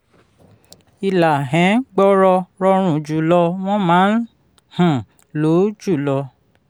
ìlà um gbọọrọ rọrùn jùlọ wọ́n máa um ń lò jùlọ.